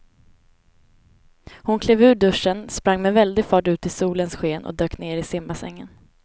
Hon klev ur duschen, sprang med väldig fart ut i solens sken och dök ner i simbassängen.